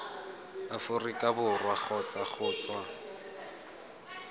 aforika borwa kgotsa go tswa